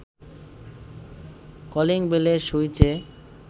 calling বেলের সুইচে